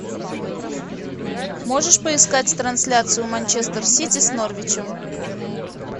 можешь поискать трансляцию манчестер сити с норвичем